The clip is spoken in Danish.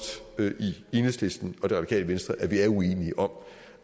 i enhedslisten og det radikale venstre at vi er uenige om